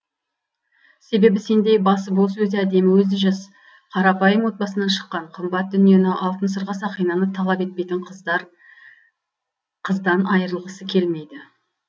себебі сендей басы бос өзі әдемі өзі жас қарапайым отбасынан шыққан қымбат дүниені алтын сырға сақинаны талап етпейтін қыздан айырылғысы келмейді